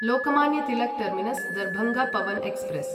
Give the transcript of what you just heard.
Lokmanya Tilak terminus Darbhanga Pawan express